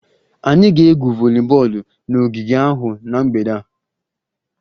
Anyị ga-egwu voliboolu n'ogige ahụ na mgbede a